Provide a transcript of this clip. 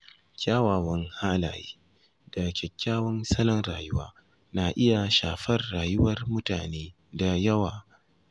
Kyawawan halaye da kyakkyawan salon rayuwa na iya shafar rayuwar mutane da yawa.